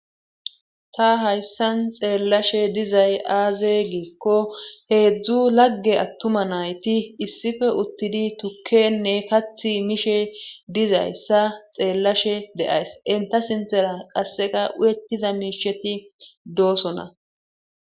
Ta hayssan xeellashe dizay aaze giikko heedzdzu lagge attuma nayti issipe uttidi tukkene katti mishe dizayssa xeellashe de7ays;enta sinthera qassikka uyettida miishati doosona.